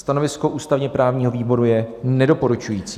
Stanovisko ústavně-právního výboru je nedoporučující.